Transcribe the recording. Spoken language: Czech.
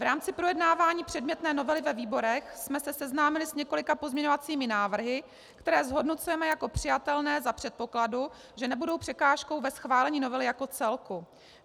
V rámci projednávání předmětné novely ve výborech jsme se seznámili s několika pozměňovacími návrhy, které zhodnocujeme jako přijatelné za předpokladu, že nebudou překážkou ve schválení novely jako celku.